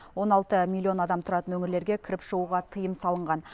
он алты миллион адам тұратын өңірлерге кіріп шығуға тыйым салынған